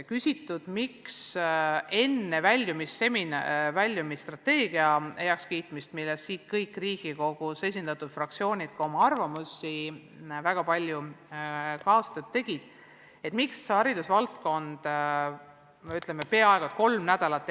On küsitud, miks haridusvaldkond peaaegu kolm nädalat enne üldise väljumisstrateegia heakskiitmist – mille kohta kõik Riigikogus esindatud fraktsioonid on oma arvamuse öelnud ja väga palju kaastööd teinud – selle kuupäeva välja käis.